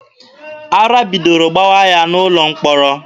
Ara bidoro gbawa ya n'ụlọ mkpọrọ.